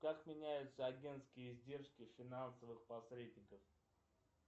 как меняются агентские издержки финансовых посредников